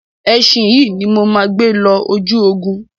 Ẹṣin yìí ni mo máa gbé lọ ojú ogun.